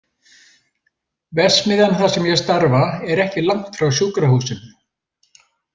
Verksmiðjan þar sem ég starfa er ekki langt frá sjúkrahúsinu.